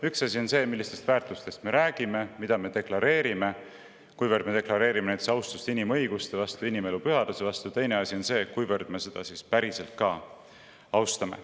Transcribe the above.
Üks asi on see, millistest väärtustest me räägime ja mida deklareerime – kas me deklareerime näiteks austust inimõiguste vastu, inimelu pühaduse vastu –, teine asi on see, kuivõrd me ka päriselt austame.